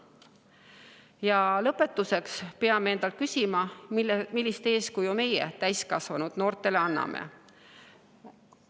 Ja lõpetuseks peame endalt küsima, millist eeskuju meie, täiskasvanud, noortele anname.